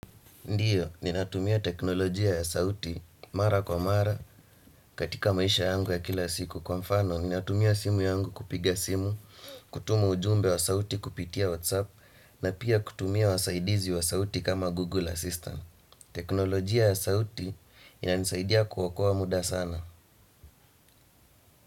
Ndiyo, ninatumia teknolojia ya sauti mara kwa mara katika maisha yangu ya kila siku. Kwa mfano, ninatumia simu yangu kupiga simu, kutumu ujumbe wa sauti kupitia WhatsApp Na pia kutumia wasaidizi wa sauti kama Google Assistant. Teknolojia ya sauti inanisaidia kuokoa muda sana.